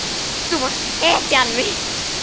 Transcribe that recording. Þú varst hetjan mín.